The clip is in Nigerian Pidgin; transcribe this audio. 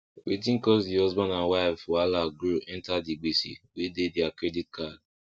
wetin cause the husband and wife wahala grow enter the gbese wey dey their credit card